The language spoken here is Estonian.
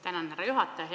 Tänan, härra juhataja!